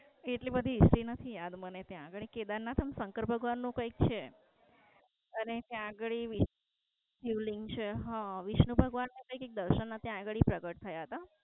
એટલી બધી History નથી યાદ મને ત્યાં ગાળી. કેદારનાથ શંકર ભગવાન નું કઈ છે. અને ત્યાં ગાળી શિવલિંગ છે હા. વિષ્ણુ ભગવાન ના દર્શન ભી ત્યાં પ્રગટ થયા તા.